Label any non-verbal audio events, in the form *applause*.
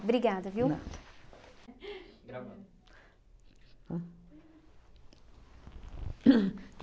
Obrigada, viu? Nada. *laughs* Gravando. Hum